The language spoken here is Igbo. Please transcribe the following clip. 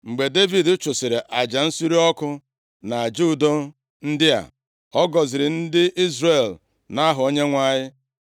Mgbe Devid chụsịrị aja nsure ọkụ na aja udo ndị a, ọ gọziri ndị Izrel nʼaha Onyenwe anyị.